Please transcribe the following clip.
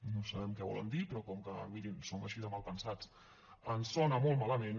i no sabem què volen dir però com que mirin som així de malpensats ens sona molt malament